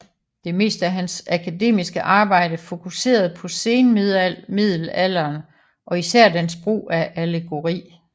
Det meste af hans akademiske arbejde fokuserede på senmiddelalderen og især dens brug af allegori